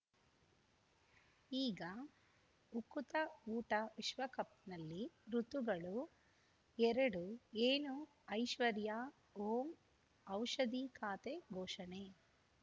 ಈಗ ಉಕುತ ಊಟ ವಿಶ್ವಕಪ್‌ನಲ್ಲಿ ಋತುಗಳು ಎರಡು ಏನು ಐಶ್ವರ್ಯಾ ಓಂ ಔಷಧಿ ಖಾತೆ ಘೋಷಣೆ